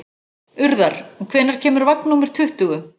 Urðar, hvenær kemur vagn númer tuttugu?